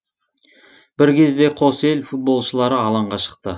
бір кезде қос ел футболшылары алаңға шықты